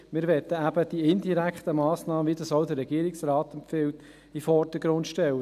Wir möchten nämlich die indirekten Massnahmen, wie es auch der Regierungsrat empfiehlt, in den Vordergrund stellen.